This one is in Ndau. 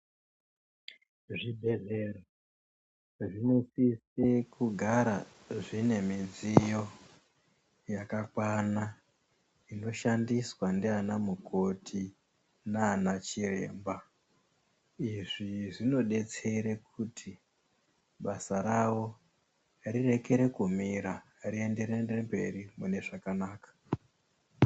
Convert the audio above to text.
Zvibhedhleya zvinosise kugara zvine midziyo yakwana inoshandiswa ndianamukoti naanachiremba. Izvi zvinodetsera kuti basa ravo rirekere kumira rienderere mberi zvakanaka.